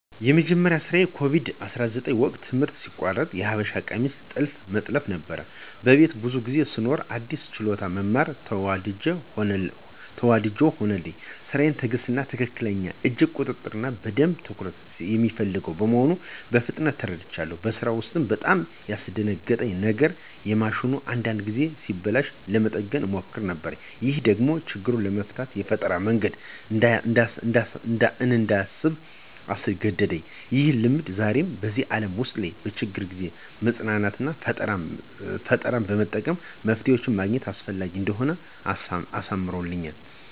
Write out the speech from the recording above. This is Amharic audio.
የመጀመሪያዬ ስራ በኮቪድ-19 ወቅት ትምህርት ሲቋረጥ የሀበሻ ቀሚስ ጥልፍ መጥለፍ ነበር። በቤት ብዙ ጊዜ ስኖር አዲስ ችሎታ መማር ተወዳጅ ሆነልኝ። ስራው ትዕግሥት፣ ትክክለኛ የእጅ ቁጥጥር እና በደንብ ትኩረት የሚፈልግ መሆኑን በፍጥነት ተረድቻለሁ። በስራው ውስጥ በጣም ያስደነግጠኝ የነገር ማሽኑ አንዳንድ ጊዜ ሲበላሽ ለመጠገን እሞክር ነበር። ይህ ደግሞ ችግር ለመፍታት የፈጠራ መንገድ እንዳስብ አስገደደኝ። ይህ ልምድ ዛሬ በዚህ ዓለም ውስጥ በችግር ጊዜ መጽናናትና ፈጠራ በመጠቀም መፍትሄ ማግኘት አስፈላጊ እንደሆነ አስተምሮኛል።